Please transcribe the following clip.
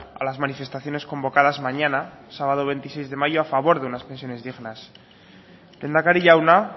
a las manifestaciones convocadas mañana sábado veintiséis de mayo a favor de unas pensiones dignas lehendakari jauna